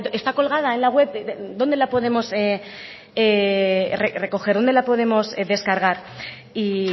está colgada en la web dónde la podemos recoger dónde la podemos descargar y